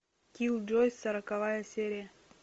киллджойс сороковая серия